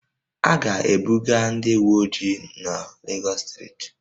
A ga-ebuga ndị uweojii n'Legọs steeti